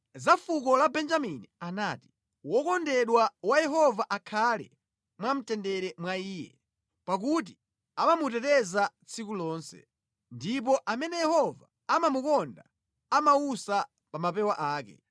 Za fuko la Benjamini anati: “Wokondedwa wa Yehova akhale mwamtendere mwa Iye, pakuti amamuteteza tsiku lonse, ndipo amene Yehova amamukonda amawusa pa mapewa ake.”